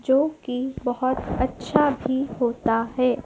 जोकी बहोत अच्छा भी होता है।